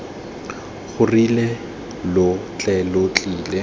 gorogile lo tle lo tlile